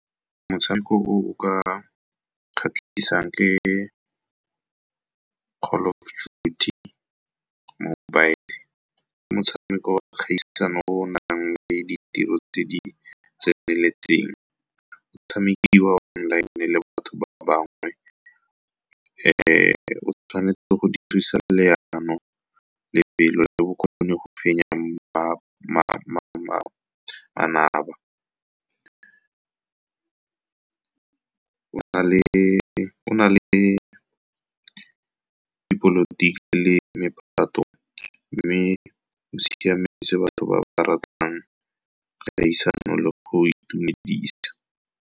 Motshameko oo ka kgatlhisang ke . Ke motshameko wa kgaisano o nang le ditiro tse di tseneletseng, o tshamekiwa online le batho ba bangwe. O tshwanetse go dirisa leano, pelo le bokgoni go fenya manaba. Go na le dipolotiki le mephato, mme o siametse batho ba ba ratang kgaisano le go itumedisa.